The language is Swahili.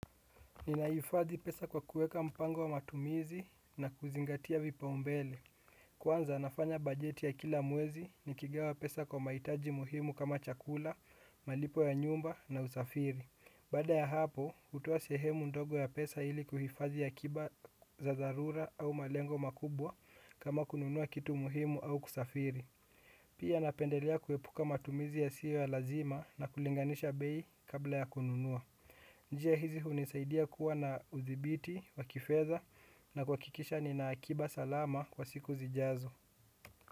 Ninahifadhi pesa kwa kuweka mpango wa matumizi na kuzingatia vipaumbele kwanza nafanya bajeti ya kila mwezi nikigawa pesa kwa mahitaji muhimu kama chakula, malipo ya nyumba na usafiri. Baada ya hapo, hutoa sehemu ndogo ya pesa ili kuhifadhi akiba za dharura au malengo makubwa kama kununua kitu muhimu au kusafiri pia napendelea kuepuka matumizi yasiyo ya lazima na kulinganisha bei kabla ya kununua njia hizi hunisaidia kuwa na udhibiti, wakifedha, na kuhakikisha nina akiba salama kwa siku zijazo.